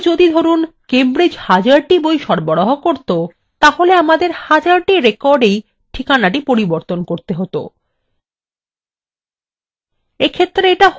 এবং যদি ধরুন কেমব্রিজ হাজারটি বই সরবরাহ করতো তাহলে আমাদের হাজারটি records ঠিকানা পরিবর্তন করতে হত